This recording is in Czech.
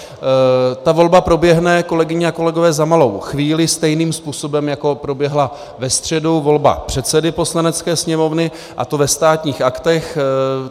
Ta volba proběhne, kolegyně a kolegové, za malou chvíli stejným způsobem, jako proběhla ve středu volba předsedy Poslanecké sněmovny, a to ve Státních aktech.